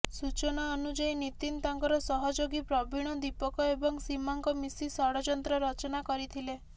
ସୂଚନା ଅନୁଯାୟୀ ନିତିନ ତାଙ୍କର ସହଯୋଗୀ ପ୍ରବୀଣ ଦୀପକ ଏବଂ ସୀମାଙ୍କ ମିଶି ଷଡଯନ୍ତ୍ର ରଚନା କରିଥିଲେ